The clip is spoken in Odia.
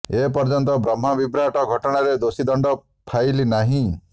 ଏ ପର୍ଯ୍ୟନ୍ତ ବ୍ରହ୍ମ ବିଭ୍ରାଟ ଘଟଣାରେ ଦୋଷୀ ଦଣ୍ଡ ଫାଇଲ ନାହିଁ